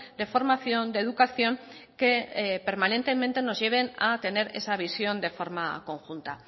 de formación de educación que permanentemente nos lleven a tener esa visión de forma conjunta